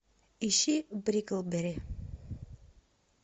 ищи бриклберри